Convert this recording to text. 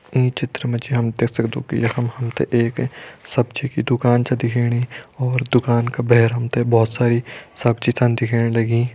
ईं चित्र मा जी हम देख सक्दों कि यखम हम ते एक सब्जी की दुकान छा दिखेणी और दुकान का भैर हम ते बहोत सारी सब्जी छन दिखेण लगीं।